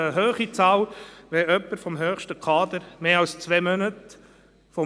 Die grüne Fraktion befürwortet die restriktivstmögliche Umsetzung.